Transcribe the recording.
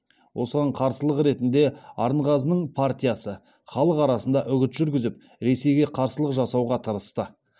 осыған қарсылық ретінде арынғазының партиясы халық арасында үгіт жүргізіп ресейге қарсылық жасауға тырысты